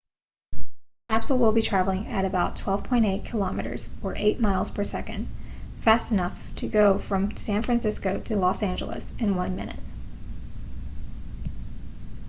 the capsule will be traveling at about 12.8 km or 8 miles per second fast enough to go from san francisco to los angeles in one minute